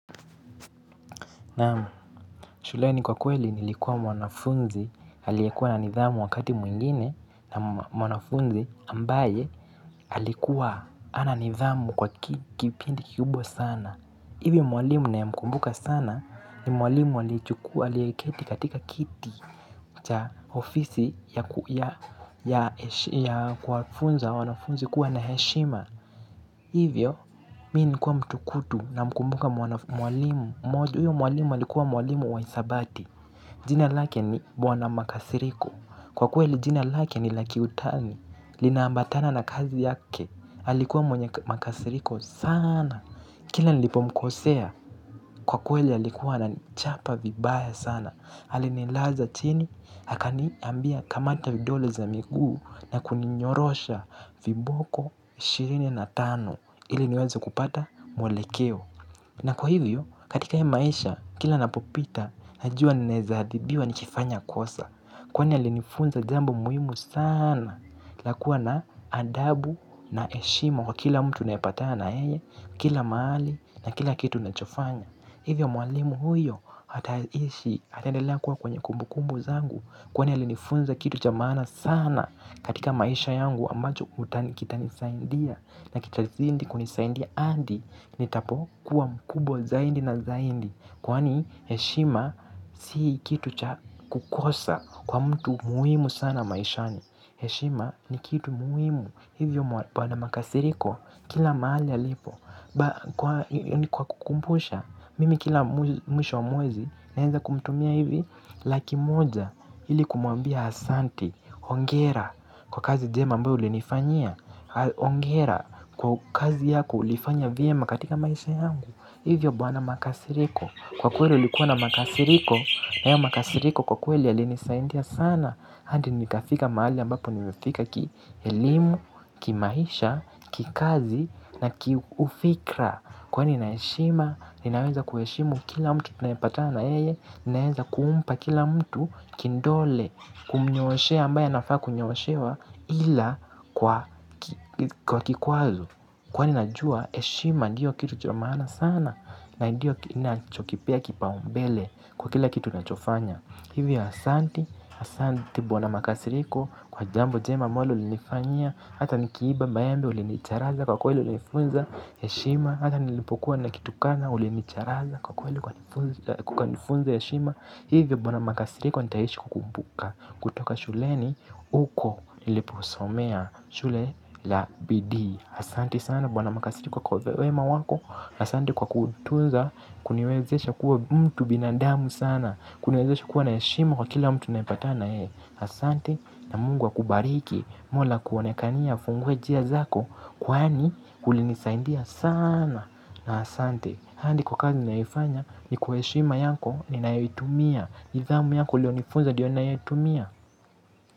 Naam, shuleni kwa kweli nilikuwa mwanafunzi alikuwa na nidhamu wakati mwingine na mwanafunzi ambaye alikuwa hana nidhamu kwa kipindi kikubwa sana. Ivi mwalimu ninayemkumbuka sana ni mwalimu aliyechukua aliyeketi katika kiti cha ofisi ya kwa kufunza wa wanafunzi kuwa na heshima. Hivyo, mii nilikuwa mtukutu namkumbuka mwalimu mmoja mwalimu alikuwa mwalimu wa hisabati. Jina lake ni bwana Makasiriko. Kwa kweli jina lake ni la kiutani. Linaambatana na kazi yake. Alikuwa mwenye makasiriko saana. Kila nilipomkosea kwa kweli alikuwa ananichapa vibaya sana alinilaza chini, akaniambia kamata vidole za migu na kuninyorosha viboko mwelekeo. Na kwa hivyo, katika hii ya maisha, kila napopita, najua ninaezadhibiwa nikifanya kosa. Kwani alinifunza jambo muhimu saana. La kuwa na adabu na heshima kwa kila mtu naepatana yeye. Kila mahali na kila kitu na chofanya. Hivyo mwalimu huyo ataishi ataendela kuwa kwenye kumbukumbu zangu. Kwani ya linifunza kitu cha maana sana. Katika maisha yangu ambacho utani kitanisaindia na kitazidi kunisaindia hadi ni tapo kuwa mkubwa zaidi na zaidi, kwani heshima si kitu cha kukosa kwa mtu muhimu sana maishani. Heshima ni kitu muhimu, hivyo bwana makasiriko kila mahali alipo. Kwa kukukumbusha, mimi kila mwisho wa mwezi, naeza kumtumia hivi. Laki moja ili kumwambia asanti, hongera kwa kazi jema ambayo ulinifanyia. Hongera kwa kazi yako ulifanya vyema katika maisha yangu. Hivyo bwana makasiriko, kwa kweli ulikuwa na makasiriko, haya makasiriko kwa kweli yalinisaidia sana hadi nikafika mahali ambapo nimefika kielimu, kimaisha, kikazi na ki ufikra. Kuwa nina heshima, ninaweza kuheshimu kila mtu tunayepatana na yeye. Ninaweza kumpa kila mtu kidole, kumnyooshea ambaye nafaa kunyooshewa. Ila kwa kikwazo kuwa ninajua heshima ndiyo kitu cha maana sana, na ndiyo ninachokipea kipaumbele kwa kila kitu nachofanya. Hivyo asanti, asanti bwana Makasiriko kwa jambo jema ambalo ulinifanyia, hata nikiiba maembe ulinicharaza, kwa kweli ulinifunza heshima, hata nilipokuwa nikitukana ulinicharaza kwa kweli ulinifunza heshima. Hivyo bwana Makasiriko nitaishi kukukumbuka. Kutoka shule. Huko niliposomea shule. Ya bidii, asante sana bwana Makasiriko kwa wema wako, asante kwa kutunza kuniwezesha kuwa mtu binadamu sana, kuniwezesha kuwa na heshima kwa kila mtu naye patana na yeye. Asante na mungu wa kubariki, Mola kuonekanie, afungue njia zako. Kwani ulinisaidia sana na asante. Hadi kwa kazi naifanya, ni kwa heshima yako ninayoitumia, nidhamu yako uliyonifunza ndiyo ninayoitumia.